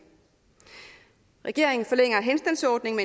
regeringen forlænger henstandsordningen